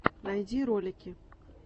найди ролики